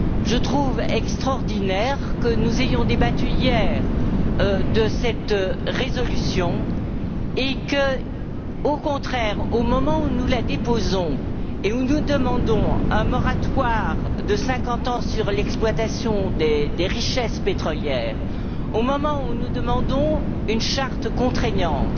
Je trouve extraordinaire que nous ayons débattu hier de cette résolution et que, au contraire, au moment où nous la déposons et où nous demandons un moratoire de cinquante ans sur l'exploitation des richesses pétrolières, au moment où nous demandons une charte contraignante,